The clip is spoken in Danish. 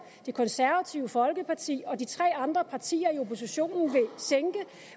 det konservative folkeparti og de tre andre partier i oppositionen vil sænke